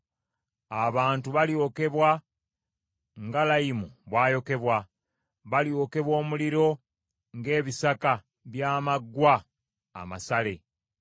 Abantu balyokebwa nga layimu bw’ayokebwa, balyokebwa omuliro ng’ebisaka by’amaggwa amasale.”